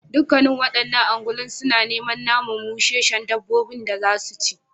Dukkanen wa'annan ungulun suna neman naman musheshshen dabbabin da zasu ci